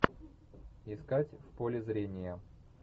искать в поле зрения